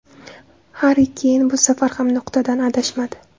Harri Keyn bu safar ham nuqtadan adashmadi.